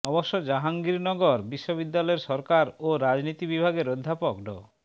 অবশ্য জাহাঙ্গীরনগর বিশ্ববিদ্যালয়ের সরকার ও রাজনীতি বিভাগের অধ্যাপক ড